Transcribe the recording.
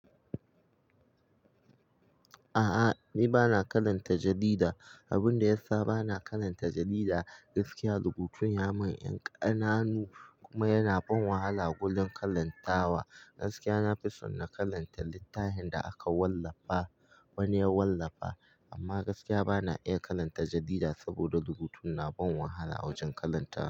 A'a, ni ba na karanta jarida. Abin da ya sa ba na karanta jarida gaskiya rubutun ya mun yan ka nanu kuma yana ban wahala gurin karantawa. Gaskiya nafi son na karanta littafin da aka wallafa wani ya wallafa amma gaskiya bana iya karanta jarida saboda rubutun na ban wahala wajen karanta.